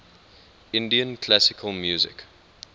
indian classical music